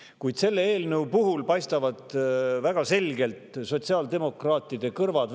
Kuid selle eelnõu puhul paistavad väga selgelt välja sotsiaaldemokraatide kõrvad.